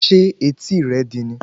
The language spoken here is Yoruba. Ṣé etí rẹ̀ di ni